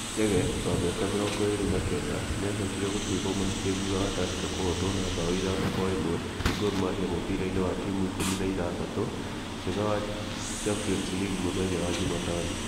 Chege, wa mĩaka mĩrongo ĩrĩ na kenda , nĩ acokire gũtuĩrwo mahĩtia thutha wa Tursker kũhootwo na mbao ithano kwa ĩmwe nĩ Gormahia mũbira-inĩ wa timu ikũmi na ithathatũ njega wa Champions League mũthenya wa Jumatano.